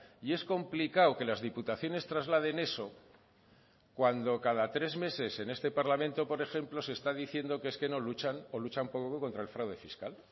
y es complicado que las diputaciones trasladen eso cuando cada tres meses en este parlamento por ejemplo se está diciendo que es que no luchan o luchan poco contra el fraude fiscal